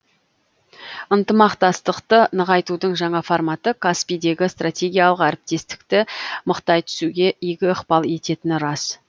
ынтымақтастықты нығайтудың жаңа форматы каспийдегі стратегиялық әріптестікті мықтай түсуге игі ықпал ететіні рас